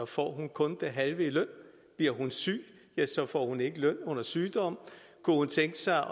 får hun kun det halve i løn bliver hun syg får hun ikke løn under sygdom kunne hun tænke sig